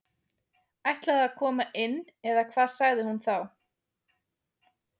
Ætliði að koma inn eða hvað sagði hún þá.